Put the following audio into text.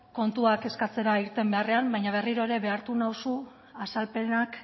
kontuak eskatzera irten beharrean baina berriro ere behartu nauzu azalpenak